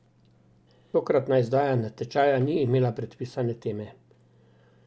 Tokratna izdaja natečaja ni imela predpisane teme.